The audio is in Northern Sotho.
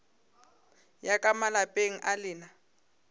ya ka malapeng a lena